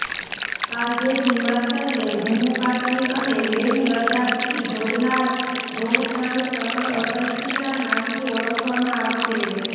આજે હિમાચલને જમ્મૂ કાશ્મીર અને લેહ લદ્દાખથી જોડનાર રોહતાંગ ટનલ અટલજીના નામથી ઓળખવામાં આવશે